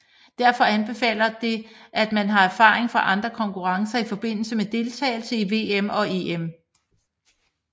Derfor anbefaler det at man har erfaring fra andre konkurrencer i forbindelse med deltagelse i VM og EM